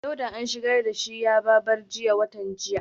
Dauda an shigar da shi yaba bar jiya watan jiya